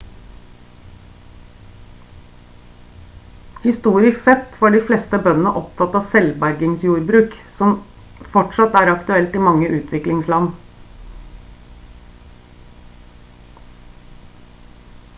historisk sett var de fleste bøndene opptatt av selvbergingsjordbruk noe som fortsatt er aktuelt i mange utviklingsland